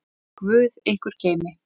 Guð ykkur geymi.